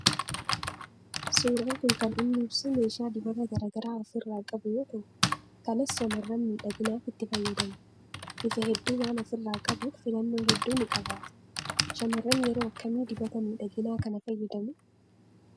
Suuraan kun kan inni ibsu meeshaa dibata garagaraa of irraa qabu yoo ta'u kanas shamarran miidhaginaaf itti fayyadamuu. Bifa hedduu waan of irraa qabuuf filannoo hedduu ni qabaata. Shamarran yeroo akkamii dibata miidhaginaa kana fayyadamuu ?